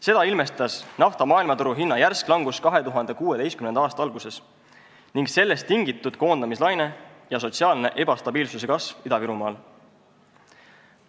Seda ilmestas nafta maailmaturu hinna järsk langus 2016. aasta alguses ning sellest tingitud koondamislaine ja sotsiaalse ebastabiilsuse kasv Ida-Virumaal.